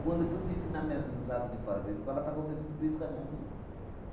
Quando tudo isso na mi, do lado de fora da escola, está acontecendo tudo isso com a minha vida.